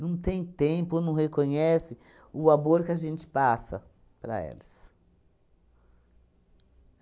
Não tem tempo ou não reconhece o amor que a gente passa para eles.